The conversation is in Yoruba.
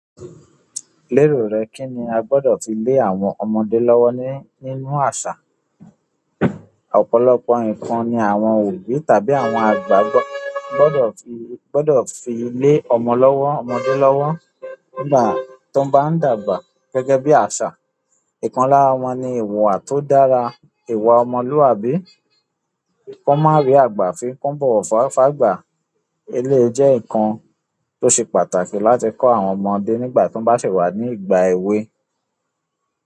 Lérò rẹ kín ni a gbọ́dọ̀ fi lé àwọn ọmọdé lọ́wọ́ ní nínú àṣà? Ọ̀pọ̀lọpọ̀ nkàn nì àwọn òbí tàbí àwọn àgbà gbọ́dọ̀ fi gbọ́dọ̀ fi lé ọmọ lọ́wọ́ ọmọdé lọ́wọ́ nígbà tó bá ń dàgbà gẹ́gẹ́ bí àṣà. Ìkan lára wọn ni ìwùwà tó dára, ìwà ọmọlúwàbí. Kan má rí àgbà fi kan bọ̀wọ̀ fágbà. Eléyi jẹ́ nǹkan tó ṣe pàtàkì láti kọ́ àwọn ọmọdé nígbà tí wọ́n bá sì wà ní ìgbà èwe.